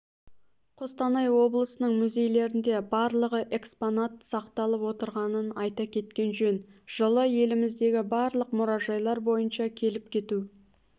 қостанай облысының музейлерінде барлығы экспонат сақталып отырғанын айта кеткен жөн жылы еліміздегі барлық мұражайлар бойынша келіп-кету